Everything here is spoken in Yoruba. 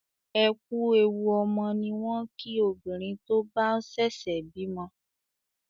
Ẹ ku èwù ọmọ ni wọn kí obìnrin tó ń bá sèsè bímo